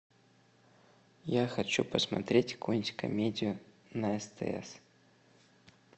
я хочу посмотреть какую нибудь комедию на стс